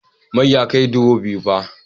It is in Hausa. Man ya kai duro biyu